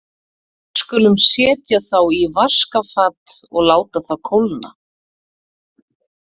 Við skulum setja þá í vaskafat og láta þá kólna.